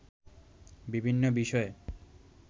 বিভিন্ন বিষয়ে